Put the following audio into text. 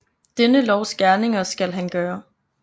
Denne lovs gerninger skal han gøre